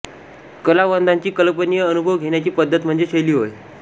कलावंताची कल्पनीय अनुभव घेण्याची पद्धती म्हणजे शैली होय